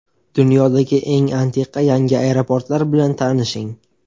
Dunyodagi eng antiqa yangi aeroportlar bilan tanishing.